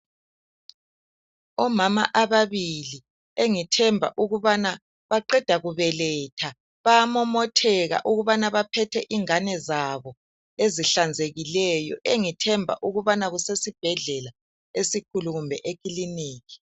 Omama ababili engithemba ukubana baqeda kubeletha. Bayamomotheka ukubana baphethe ingabe zabo ezihlanzekileyo engithemba ukubana kusesibhedlela esikhulu kumbe ekilinika.